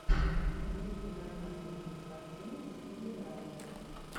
запусти нормальную кинокартину в стиле драмы